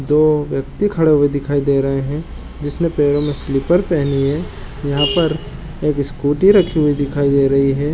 दो व्यक्ति खड़े हुए दिखाई दे रहे है जिसने पैरों में स्लिपर पहनी है यहाँ पर एक स्कूटी रखी हुई दिखाई दे रही है।